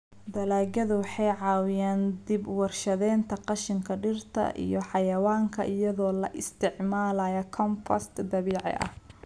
Dalagyadu waxay caawiyaan dib-u-warshadaynta qashinka dhirta iyo xayawaanka iyadoo la isticmaalayo compost dabiiciga ah.